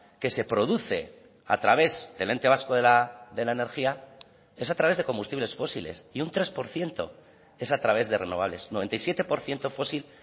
que se produce a través del ente vasco de la energía es a través de combustibles fósiles y un tres por ciento es a través de renovables noventa y siete por ciento fósil